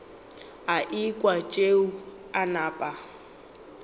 a ekwa tšeo a napa